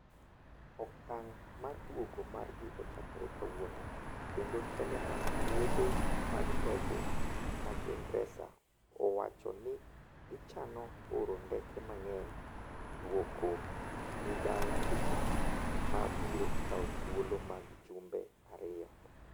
Okang' mar duogo margi ochakore kawuono kendo telo mag wuothe mag ndege ma ingresa, owacho ni gichano oro ndeke mang'eny duoko gi dala e tich ma biro kawo thuolo mar jumbe ariyo.